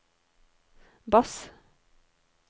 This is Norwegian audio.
bass